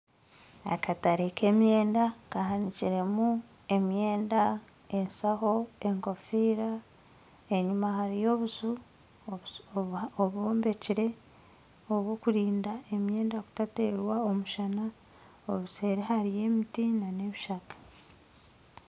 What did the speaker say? Akatare k'emyemda kahanikiremu emyenda enshaho enkofiira enyuma hariyo obuju obwombekire obw'okurinda emyenda kutateerwa omushana obuseeri hariyo emiti nana ebishaka